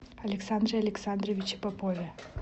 александре александровиче попове